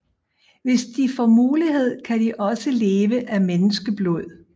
Hvis de får muligheden kan de også leve af menneskeblod